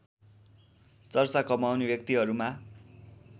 चर्चा कमाउने व्यक्तिहरूमा